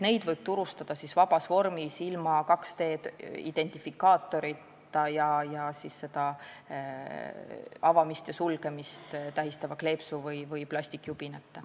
Neid võib turustada vabas vormis, ilma 2D-identifikaatorita ja avamist-sulgemist tähistava kleepsu või plastjubinata.